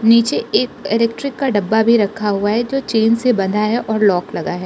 नीचे एक इलेक्ट्रिक का डब्बा भी रखा हुआ है जो चैन से बंधा है और लॉक लगा है।